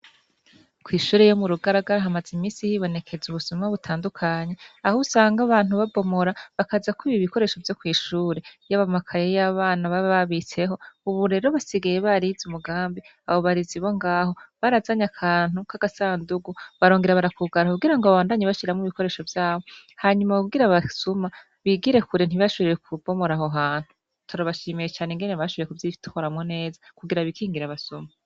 Kwishure yo muru garagara, hamaz'iminsi hibonekez' ubusuma butandukanye, ahusang' abantu babomora bakaza kwib' ibikoresho vyokwishure, yab' amakaye y' abana babababitseho, ubu rero basigaye bariz' umugambi, abobarezi bongaho, barazany' akantu kagasandugu barongera barakugara kugira babandanye bashiramw' ibikoresho vyabo, hanyuma kugir' abasuma bigire kure ntibasubire kubomor' ahohantu. Turabashimiy' ukungene bavyitwayemwo neza kugira bikingir' abasuma.